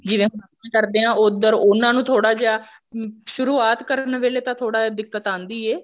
ਜਿਵੇਂ ਹੁਣ ਅਸੀਂ ਕਰਦੇ ਹਾਂ ਉੱਧਰ ਉਹਨਾ ਨੂੰ ਥੋੜਾ ਜਿਹਾ ਅਮ ਸ਼ੁਰੁਵਾਤ ਕਰਨ ਵੇਲੇ ਤਾਂ ਥੋੜਾ ਜਾ ਦਿੱਕਤ ਆਉਂਦੀ ਹੈ